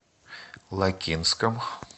лакинском